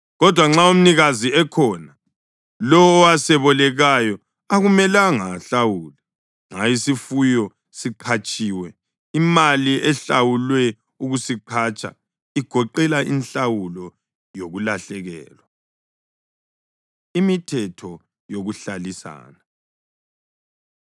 Kodwa nxa umnikazi ekhona, lowo owasebolekayo akumelanga ahlawule. Nxa isifuyo siqhatshiwe, imali ehlawulwe ukusiqhatsha igoqela inhlawulo yokulahlekelwa.” Imithetho Yokuhlalisana